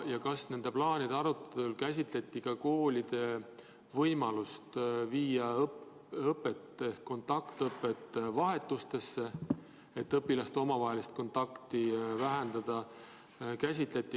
Ja kas nende plaanide arutelul käsitleti ka koolide võimalust viia kontaktõpe vahetustesse, et õpilaste omavahelisi kontakte vähendada?